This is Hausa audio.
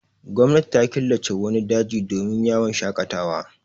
Gwamnati ta killace wani daji dmin yawon shaƙatawa.